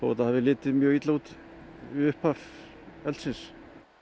þetta hafi litið mjög illa út við upphaf eldsins